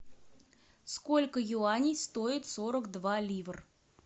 сколько юаней стоит сорок два ливр